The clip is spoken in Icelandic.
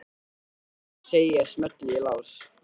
Jæja, segi ég og smelli í lás.